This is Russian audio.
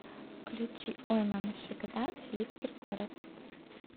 включи ой мама шика дам филипп киркоров